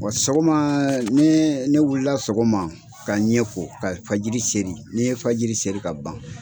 Wa sɔgɔma ni ne wulila sɔgɔma ka ɲɛko, kafa jiri seli ne ye fa jiri selii ka ban.